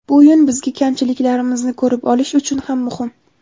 Bu o‘yin bizga kamchiliklarimizni ko‘rib olish uchun ham muhim.